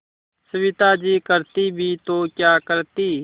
सविता जी करती भी तो क्या करती